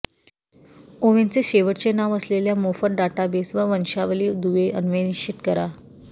ओवेनचे शेवटचे नाव असलेल्या मोफत डाटाबेस व वंशावली दुवे अन्वेषित करा